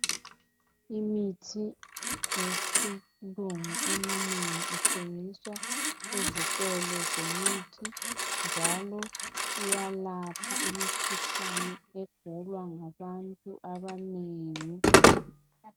Imithi yesilungu eminengi ithengiswa ezitolo zemithi njalo iyalapha imikhuhlane egulwa ngabantu abanengi.